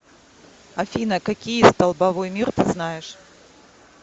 афина какие столбовой мир ты знаешь